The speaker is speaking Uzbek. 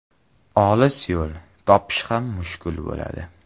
Olis yo‘l, topish ham mushkul bo‘ladi.